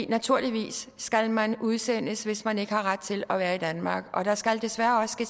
naturligvis skal man udsendes hvis man ikke har ret til at være i danmark og der skal desværre også